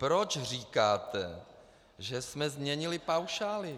Proč říkáte, že jsme změnili paušály!